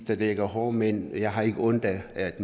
der dækker håret men jeg har ikke ondt ved at